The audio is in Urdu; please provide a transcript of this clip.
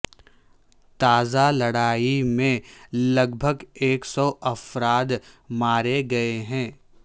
تازہ لڑائی میں لگ بھگ ایک سو افراد مارے گئے ہیں